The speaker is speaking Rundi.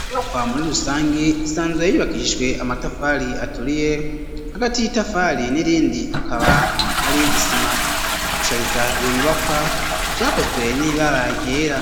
Inyubakwa muri rusangi isanzwe yubakishijwe amatafari aturiye hagati y'itafari n'irindi akaba ari isima , gushariza iyo nyubakwa vyakozwe n'ibara ryera,